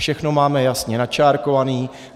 Všechno máme jasně načárkované.